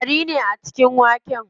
Ƙwari ne a cikin waken.